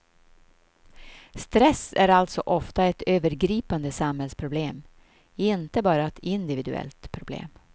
Stress är alltså ofta ett övergripande samhällsproblem, inte bara ett individuellt problem.